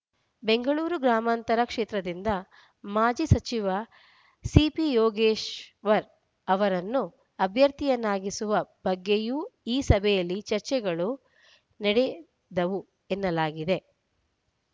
ಬೆಂಗಳೂರು ಗ್ರಾಮಾಂತರ ಕ್ಷೇತ್ರದಿಂದ ಮಾಜಿ ಸಚಿವ ಸಿಪಿ ಯೋಗೇಶ್ವರ್ ಅವರನ್ನು ಅಭ್ಯರ್ಥಿಯನ್ನಾಗಿಸುವ ಬಗ್ಗೆಯೂ ಈ ಸಭೆಯಲ್ಲಿ ಚರ್ಚೆಗಳು ನಡೆದವು ಎನ್ನಲಾಗಿದೆ